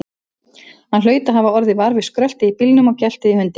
Hann hlaut að hafa orðið var við skröltið í bílnum og geltið í hundinum.